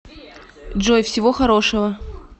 джой всего хорошего